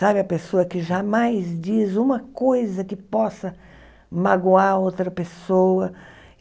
Sabe, a pessoa que jamais diz uma coisa que possa magoar outra pessoa.